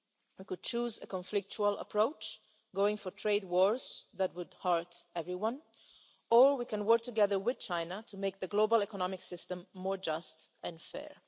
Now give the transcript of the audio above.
We could choose a conflictual approach, going for trade wars that would hurt everyone, or we can work together with China to make the global economic system more just and fair.